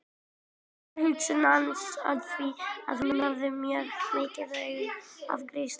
Þar var hugsun hans öll því að hann hafði mjög mikinn áhuga á grískri glímu.